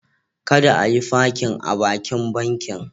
Kada a yi fakin a bakin bankin.